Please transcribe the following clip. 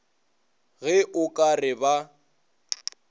ge o ka re ba